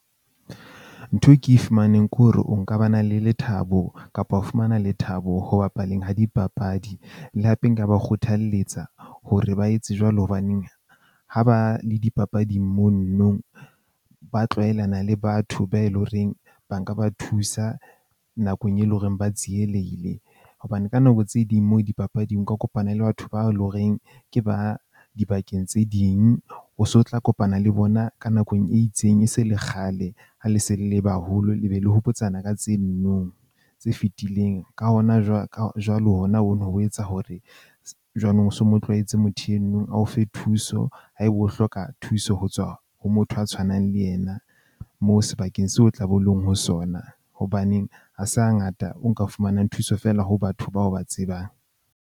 Ntho e ke e fumaneng ke hore o nka ba na le lethabo kapa ho fumana lethabo ho bapaleng ha dipapadi. Le hape nka ba kgothalletsa hore ba etse jwalo. Hobaneng ha ba le dipapading mono nong ba tlwaelana le batho ba e loreng ba nka ba thusa nakong e leng hore ba tsielehile. Hobane ka nako tse ding moo dipapading ka kopana le batho bao e leng horeng ke ba dibakeng tse ding, o so tla kopana le bona ka nakong e itseng. E se le kgale ha le se le le baholo, le be le hopotsana ka tse no nong tse fetileng. Ka hona jwale, ka jwalo, hona o no ho etsa hore jwanong so, mo tlwaetse motho eno a o fe thuso haeba o hloka thuso ho tswa ho motho a tshwanang le ena, moo sebakeng seo o tla be o leng ho sona. Hobaneng ha se ha ngata o nka fumanang thuso feela ho batho bao ba tsebang.